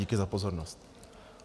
Díky za pozornost.